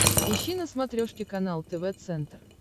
ищи на смотрешке канал тв центр